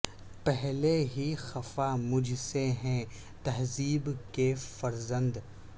پہلے ہی خفا مجھ سے ہیں تہذیب کے فرزند